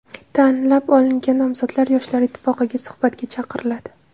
Tanlab olingan nomzodlar Yoshlar ittifoqiga suhbatga chaqiriladi.